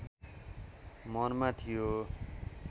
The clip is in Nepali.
मनमा थियो